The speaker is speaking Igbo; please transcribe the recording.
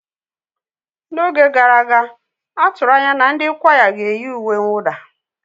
N'oge gara aga, a tụrụ anya na ndị kwaya ga-eyi uwe mwụda.